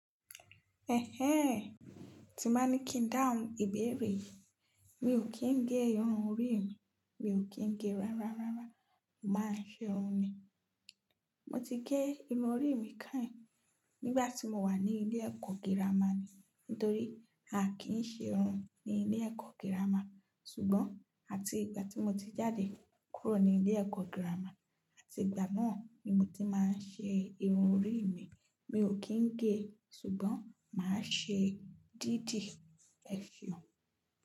Ẹ̀hẹ́n, tí máa ní kí n dáhùn ìbéèrè yìí, mi ò kí ń gé irun orí mi, mi ò kí ń gé rárárárá, màá ṣe irun ni. Mo ti gé irun orí mi káìn nígbà tí mo wà ní ilé ẹ̀kọ́ girama ni, nítorí a kìí ṣe irun ní ilé ẹ̀kọ́ girama. Ṣùgbọ́n àti ìgbà tí mo ti jáde kúrò ní ilé ẹ̀kọ́ girama àti ìgbà náà ni mo ti máa ń ṣe irun orí mi. Mi ò kí ń gé, ṣùgbọ́n màá ṣe dídì, ẹ fi hàn.